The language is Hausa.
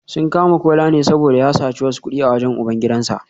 Sun kama Kola ne saboda ya saci wasu kudi a wajen ubangidansa